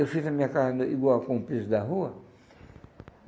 Eu fiz a minha casa igual com o piso da rua.